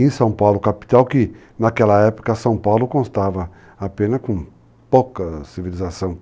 em São Paulo, capital que, naquela época, São Paulo constava apenas com pouca civilização.